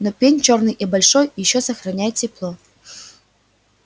но пень чёрный и большой ещё сохраняет тепло